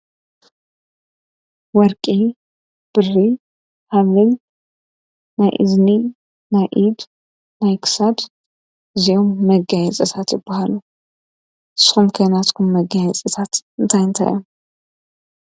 ወርቂ፣ ብሪ፣ ሃብል ናይ እዝኒ ናይ ኢድ ናይ ክሳድ እዝይኦም መጋየፅታት ይበሃሉ። ንስኹም ከ ናትኩም መጋየፅታት እንታይ እንታይ እዮም?